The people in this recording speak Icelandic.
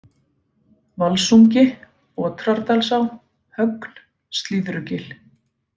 Valsungi, Otrardalsá, Högn, Slíðrugil